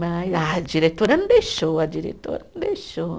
Ah a diretora não deixou, a diretora não deixou.